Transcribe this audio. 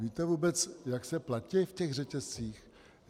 Víte vůbec, jak se platí v těch řetězcích?